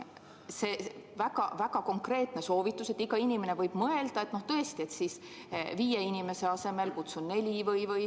See on väga konkreetne soovitus: iga inimene võib mõelda, et ma siis tõesti viie inimese asemel kutsun neli.